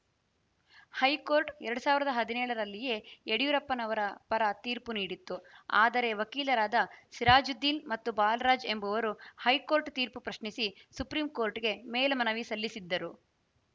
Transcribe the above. high court ಎರಡ್ ಸಾವಿರದ ಹದಿನೇಳರಲ್ಲಿಯೇ ಯಡಿಯೂರಪ್ಪನವರ ಪರ ತೀರ್ಪು ನೀಡಿತ್ತು ಆದರೆ ವಕೀಲರಾದ ಸಿರಾಜುದ್ದೀನ್‌ ಮತ್ತು ಬಾಲರಾಜ್‌ ಎಂಬುವರು ಹೈಕೋರ್ಟ್‌ ತೀರ್ಪು ಪ್ರಶ್ನಿಸಿ ಸುಪ್ರಿಂ ಕೋರ್ಟ್‌ಗೆ ಮೇಲ್ಮನವಿ ಸಲ್ಲಿಸಿದ್ದರು